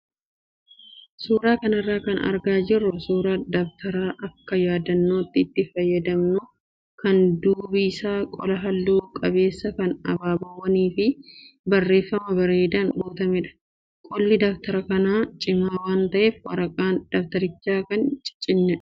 Suuraa kanarraa kan argaa jirru suuraa dabtara akka yaadannootti itti fayyadamnu kan duubi isaa qola halluu qabeessa kan abaaboowwan fi barreeffama bareedaan guutamedha. Qolli dabtara kanaa cimaa waan ta'eef waraqaan dabtarichaa hin ciccitu.